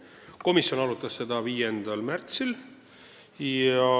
Komisjon arutas seda 5. märtsil.